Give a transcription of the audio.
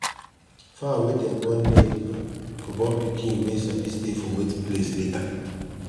fowl wey dem train near river go born pikin wey sabi stay for wet place later